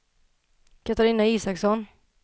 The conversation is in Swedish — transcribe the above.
Katarina Isaksson